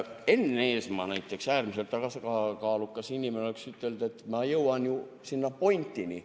Enn Eesmaa näiteks, äärmiselt tasakaalukas inimene, oleks ütelnud, et ma jõuan ju selle pointini.